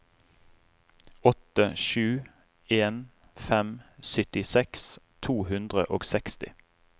åtte sju en fem syttiseks to hundre og seksti